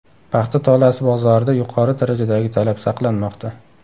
Paxta tolasi bozorida yuqori darajadagi talab saqlanmoqda.